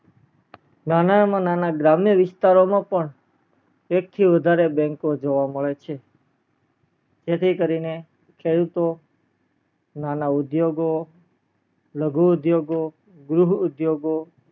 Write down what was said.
નાના માં નાના ગરમીન વિસ્તારો માં પણ એક થી વધારે bank ઓ જોવા મળે છે જેથી કરીને ખેડૂતો, નાણા ઉદ્યોગો, લઘુ ઉદ્યોગો, ગ્રુક ઉદ્યોગો